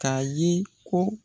K'a ye ko